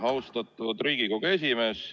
Austatud Riigikogu esimees!